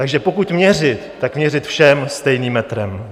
Takže pokud měřit, tak měřit všem stejným metrem.